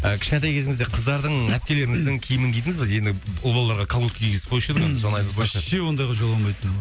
і кішкентай кезіңізде қыздардың әпкелеріңіздің киімін кидіңіз бе енді ұл балаларға колготки кигізіп қоюшы еді ғой соны айтып отырған шығар вообще ондайға жоламайтынмын